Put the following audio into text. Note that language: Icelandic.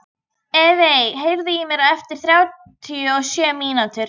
Evey, heyrðu í mér eftir þrjátíu og sjö mínútur.